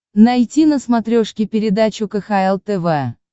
найти на смотрешке передачу кхл тв